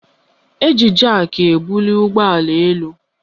Eji jaki ebuli ụgbọala elu